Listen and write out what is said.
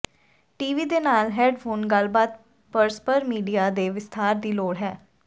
T V ਦੇ ਨਾਲ headphone ਗੱਲਬਾਤ ਪਰਸਪਰ ਮੀਡੀਆ ਦੇ ਵਿਸਥਾਰ ਦੀ ਲੋੜ ਹੈ